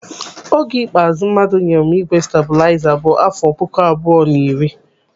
Oge ikpeazụ mmadụ nyere m ígwè stabuliza bụ n'afọ puku abụọ na iri.